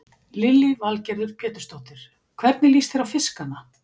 Lillý Valgerður Pétursdóttir: Hvernig líst þér á fiskana?